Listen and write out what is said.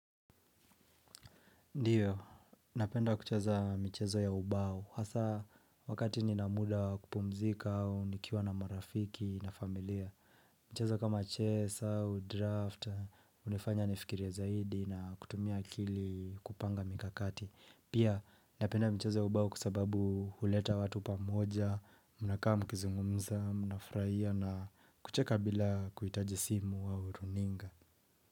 Ndiyo, napenda kucheza mchezo ya ubao, hasa wakati nina muda kupumzika au nikiwa na marafiki na familia. Mchezo kama chess au draft, hunifanya nifikirie zaidi na kutumia akili kupanga mikakati. Pia napenda mchezo ya ubao kusababu huleta watu pa mmoja, mnafurahia na kucheka bila kuhitaji simu au runinga.